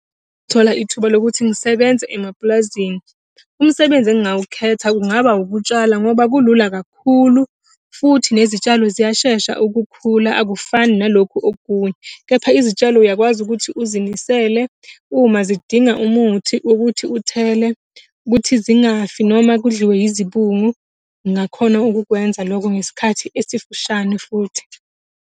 Thola ithuba lokuthi ngisebenze emapulazini. Umsebenzi engingawukhetha kungaba ukutshala ngoba kulula kakhulu, futhi nezitshalo ziyashesha ukukhula akufani naloku okunye. Kepha izitshalo uyakwazi ukuthi uzinisele uma zidinga umuthi wokuthi uthele ukuthi zingafiki noma kudliwe izibungu. Ngingakhona ukukwenza lokho ngesikhathi esifishane futhi.